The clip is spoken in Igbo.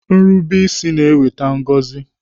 Nrubeisi na-eweta ngọzi.